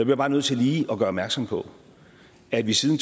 jeg bare nødt til lige at gøre opmærksom på at vi siden